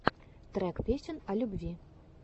трек песен о любви